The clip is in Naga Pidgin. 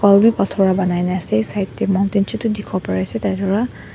phator pa banai na ase side tae mountain chutu dikhiwo parease tatae wra.